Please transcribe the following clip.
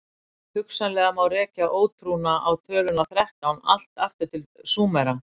hugsanlega má rekja ótrúna á töluna þrettán allt aftur til súmera